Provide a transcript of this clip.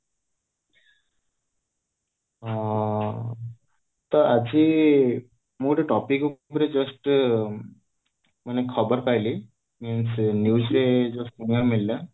ହଁ ତ ଆଜି ମୁଁ ଗୋଟେ topic ଉପରେ just ଖବର ପାଇଲି news ରେ ଶୁଣିବାକୁ ମିଳିଲା